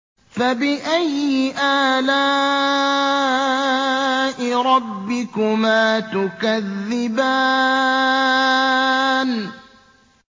فَبِأَيِّ آلَاءِ رَبِّكُمَا تُكَذِّبَانِ